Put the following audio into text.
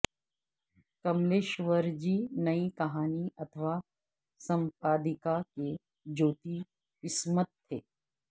کملیشور جی نئی کہانی اتھوا سمپادیکا کے جیوتی اسمتھ تھے